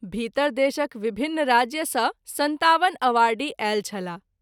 भीतर देशक विभिन्न राज्य सँ ५७ अवार्डी आयल छलाह।